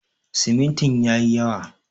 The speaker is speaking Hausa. Simintin ya yi yawa.